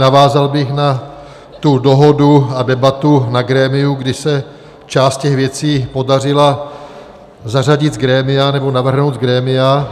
Navázal bych na tu dohodu a debatu na grémiu, kdy se část těch věcí podařila zařadit z grémia, nebo navrhnout z grémia.